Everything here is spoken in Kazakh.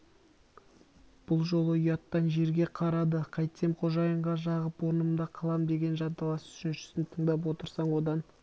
бұл жолы ұяттан жерге қарады қайтсем қожайынға жағып орнымда қалам деген жанталас үшіншісін тыңдап отырсаң одан